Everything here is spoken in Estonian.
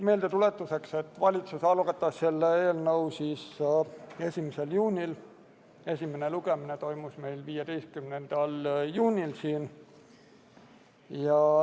Meeldetuletuseks: valitsus algatas eelnõu 1. juunil, esimene lugemine toimus 15. juunil.